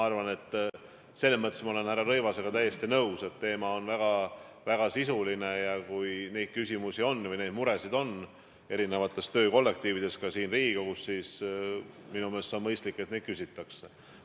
Aga selles mõttes ma olen härra Rõivasega täiesti nõus, et teema on väga sisuline ja kui samasuguseid küsimusi või muresid on töökollektiivides, ka siin Riigikogus, siis minu meelest on mõistlik, et selle kohta küsitakse.